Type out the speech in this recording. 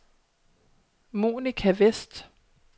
Monica Westh